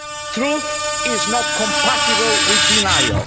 Truth is not compatible with denial.